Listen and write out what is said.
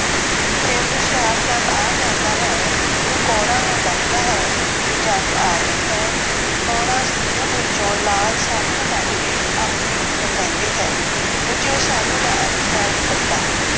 ਫਿਰ ਹੁਸ਼ਿਆਰਚੰਦ ਆ ਜਾਂਦਾ ਹੈ। ਉਹ ਕੌਰਾਂ ਨੂੰ ਦੱਸਦਾ ਹੈ ਕਿ ਜੰਞ ਆ ਗਈ ਹੈ। ਕੌਰਾਂ ਸੰਦੂਕ ਵਿੱਚੋਂ ਲਾਲ ਸਾਲੂ ਕੱਢ ਕੇ ਆਪਣੇ ਉੱਪਰ ਲੈਂਦੀ ਹੈ। ਬੱਚਿਓ ਸਾਲੂ ਦਾ ਅਰਥ ਹੈ ਦੁਪੱਟਾ।